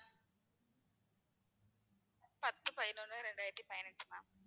பத்து பதினொண்ணு ரெண்டாயிரத்தி பதினஞ்சு ma'am